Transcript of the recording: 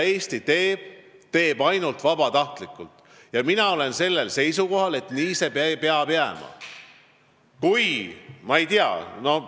Eesti teeb kõike ainult vabatahtlikult ja mina olen sellel seisukohal, et nii peab see ka jääma.